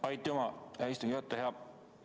Aitüma, hea istungi juhataja!